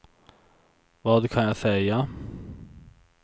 vad kan jag säga